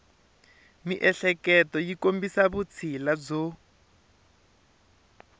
miehleketo yi kombisa vutshila byo